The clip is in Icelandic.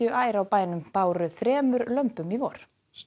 ær á bænum báru þremur lömbum í vor